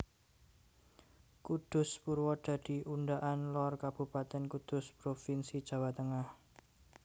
Kudus Purwodadi Undaan Lor Kabupatèn Kudus provinsi Jawa Tengah